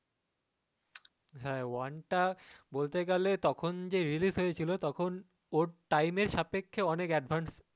হ্যাঁ one টা বলতে গেলে তখন যে release হয়েছিলো তখন ওর time এর সাপেক্ষে অনেক advance